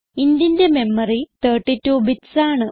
intന്റെ memory 32 bits ആണ്